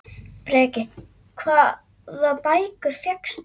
Breki: Hvaða bækur fékkstu?